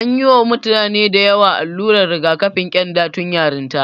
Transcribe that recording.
An yi wa mutane dayawa allurar rigakafin ƙyanda tun yarinta.